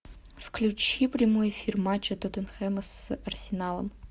включи прямой эфир матча тоттенхэма с арсеналом